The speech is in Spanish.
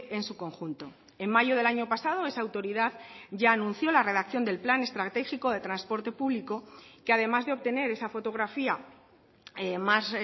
en su conjunto en mayo del año pasado esa autoridad ya anunció la redacción del plan estratégico de transporte público que además de obtener esa fotografía más